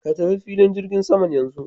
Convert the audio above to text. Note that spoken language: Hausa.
Ka tafi filin jirgin saman yanzu.